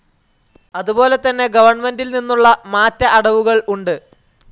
അതുപോലെതന്നെ ഗവൺമെന്റിൽനിന്നുള്ള മാറ്റ അടവുകൾ ഉണ്ട്.